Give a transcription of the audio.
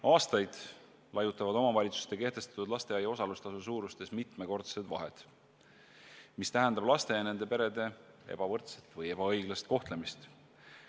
Aastaid laiutavad omavalitsuste kehtestatud lasteaia osalustasu suurustes mitmekordsed vahed, mis tähendab laste ja nende perede ebavõrdset või ebaõiglast kohtlemist.